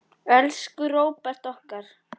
Elsku Róbert okkar.